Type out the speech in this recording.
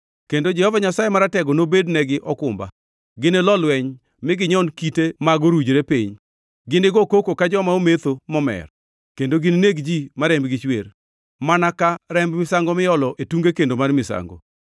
kendo Jehova Nyasaye Maratego nobednegi okumba. Ginilo lweny mi ginyon kite mag orujre piny. Ginigo koko ka joma ometho momer kendo ginineg ji ma rembgi chwer, mana ka remb misango miolo e tunge kendo mar misango.